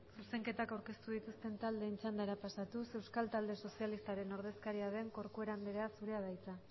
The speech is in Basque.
zuzenketak aurkeztu dituzten taldeen txandara pasatuz euskal talde sozialistaren ordezkaria den corcuera andrea zurea da hitza